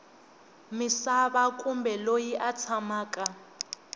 misava kumbe loyi a tshamaka